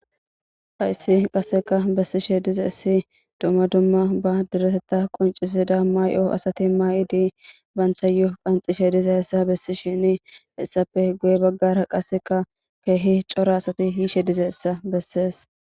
Hayisi qaseka bessishe diza issi dumma dumma ba diretetta qoncisida maayo asati maayidi bantayu qanxishe diza hessa bessi shini hessappe guye baggara qaseka keehi coora asati hiishe diza issa bessees